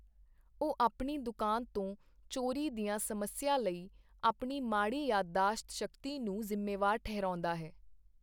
ਉਹ ਆਪਣੀ ਦੁਕਾਨ ਤੋਂ ਚੋਰੀ ਦੀਆਂ ਸਮੱਸਿਆ ਲਈ ਆਪਣੀ ਮਾੜੀ ਯਾਦਦਾਸ਼ਤ ਸ਼ਕਤੀ ਨੂੰ ਜ਼ਿੰਮੇਵਾਰ ਠਹਿਰਾਉਂਦਾ ਹੈ।